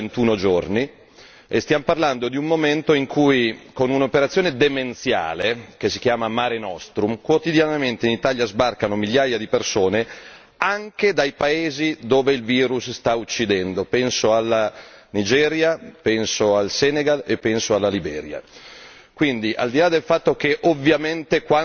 Stiamo parlando di un virus che ha un tempo di incubazione da due a ventuno giorni e stiamo parlando di un momento in cui, con un'operazione demenziale che si chiama Mare Nostrum, quotidianamente in Italia sbarcano migliaia di persone anche dai paesi dove il virus sta uccidendo penso alla Nigeria, penso al Senegal e penso alla Liberia.